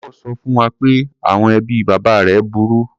Paul sọ fún wa pé àwọn ẹbí bàbá rẹ̀ burú.